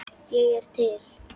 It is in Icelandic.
Ég er til.